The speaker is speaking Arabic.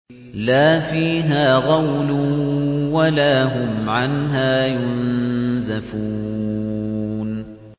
لَا فِيهَا غَوْلٌ وَلَا هُمْ عَنْهَا يُنزَفُونَ